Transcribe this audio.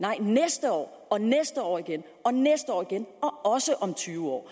og næste år og næste år igen også om tyve år